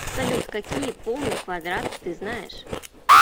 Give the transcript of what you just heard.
салют какие полный квадрат ты знаешь